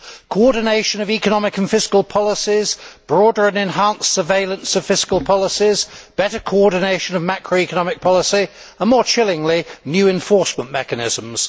Coordination of economic and fiscal policies, broader and enhanced surveillance of fiscal policies, better coordination of macro economic policy and, more chillingly, new enforcement mechanisms.